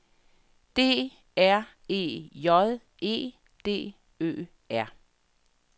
D R E J E D Ø R